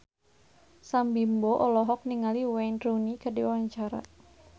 Sam Bimbo olohok ningali Wayne Rooney keur diwawancara